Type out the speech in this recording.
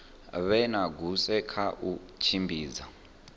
vhoina goosen kha u tshimbidza